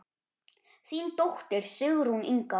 Þín dóttir, Sigrún Inga.